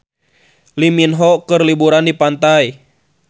Lee Min Ho keur liburan di pantai